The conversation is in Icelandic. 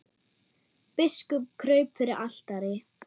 Biskup kraup fyrir altari.